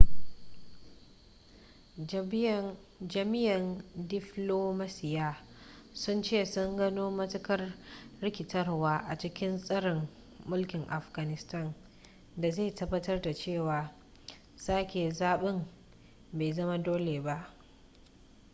jami'an diflomasiyya sun ce sun gano matuƙar rikitarwa a cikin tsarin mulkin afghanistan da zai tabbatar da cewa sake zaben bai zama dole ba